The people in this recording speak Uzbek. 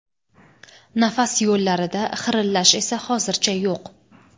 Nafas yo‘llarida xirillash esa hozircha yo‘q.